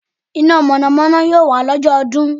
Iná Mọ̀nà Mọ̀nà yóò wà lọ́jọ́ ọdún